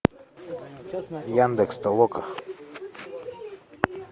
яндекс толока